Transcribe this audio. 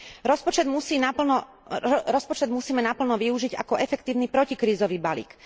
Rozpočet musíme naplno využiť ako efektívny protikrízový balík.